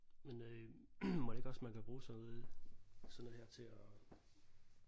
Men øh mon ikke også man kan bruge sådan noget sådan noget her til at